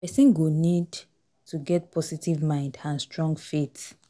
Person go need to get positive mind and strong faith